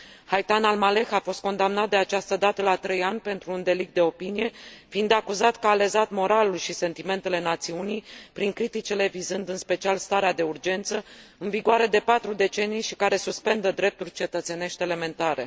Haitham Al Maleh a fost condamnat de această dată la trei ani pentru un delict de opinie, fiind acuzat că a lezat moralul și sentimentele națiunii, prin criticile vizând în special starea de urgență, în vigoare de 4 decenii și care suspendă drepturi cetățenești elementare.